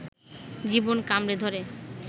জীবন কামড়ে ধরে